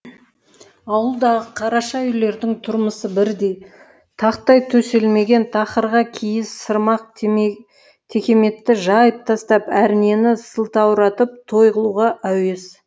ауылдағы қараша үйлердің тұрмысы бірдей тақтай төселмеген тақырға киіз сырмақ текеметті жайып тастап әрнені сылтауратып той қылуға әуес